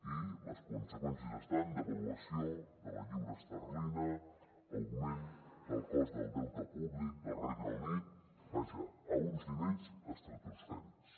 i les conseqüències han estat devaluació de la lliura esterlina augment del cost del deute públic del regne unit vaja a uns nivells estratosfèrics